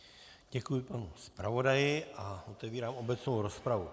Děkuji panu zpravodaji a otevírám obecnou rozpravu.